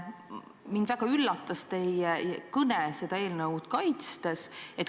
Mind väga üllatas teie kõne seda eelnõu kaitstes.